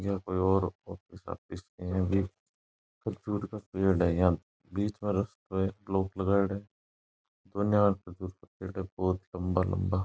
यो कोई और office office की है खजूर का पेड़ है यहाँ बीच में रास्तो है ब्लॉक लगाएड़ा है दोन्या कनी खजूर का पेड़ है बोहोत लम्बा लम्बा।